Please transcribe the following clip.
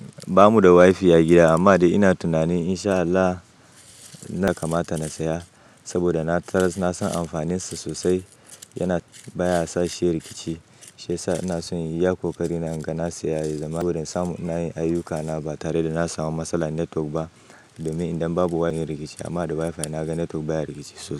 Ba mu da wifi a gida amma ina tunanin insha Allah na kamata na saya saboda na taras-- na san amfanin sa sosai. Yana baya sashi rikici. Shi ya sa ina son in yi yaƙo kari na inga na sayaye saboda in samu nayi ayyukana ba tare da na samu matsalar netwok ba. Domin idan babu wifi yana rikici amma da wifi naga netwok baya rikici sosai.